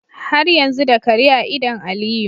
Har yanzu da Kare a idan aliyu